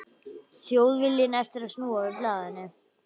Þjóðviljinn eftir að snúa við blaðinu.